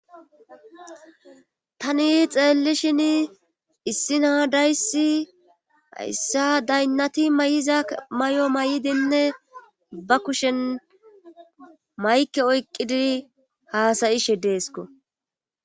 tani xeellishin issina 7dayssi hayssa daynnati may7iza may7o may7dinne ba kushen maykke oyqqidi haasayishe deesko